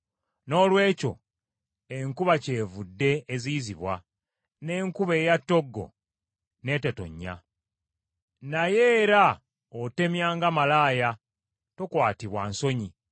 Noolwekyo enkuba kyevudde eziyizibwa, n’enkuba eya ttoggo n’etetonnya. Naye era otemya nga malaaya tokwatibwa nsonyi.